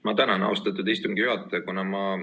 Ma tänan, austatud istungi juhataja!